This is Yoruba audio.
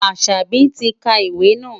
Asabi ti ka ìwé náà.